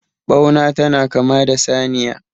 bauna tana kama da saniya